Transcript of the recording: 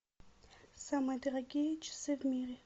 самые дорогие часы в мире